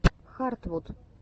хартвуд